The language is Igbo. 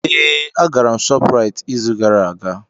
Ee, agara m ShopRite izu gara aga.